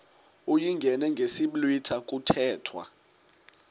uyingene ngesiblwitha kuthethwa